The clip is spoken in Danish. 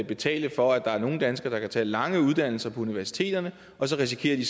betale for at der er nogle danskere der kan tage lange uddannelser på universiteterne og så risikerer de